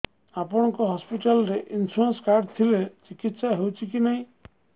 ଆପଣଙ୍କ ହସ୍ପିଟାଲ ରେ insurance card ଥିଲେ ଚିକିତ୍ସା ହେଉଛି କି ନାଇଁ